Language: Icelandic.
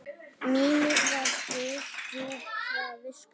Mímir var guð djúprar visku.